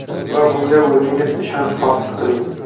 Va bunga o‘zingiz ishonch hosil qiling!